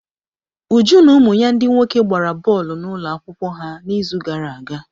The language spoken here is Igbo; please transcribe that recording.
Uju na ụmụ ya ndị nwoke gbara bọọlụ n'ụlọ akwụkwọ ha n'izu gara aga.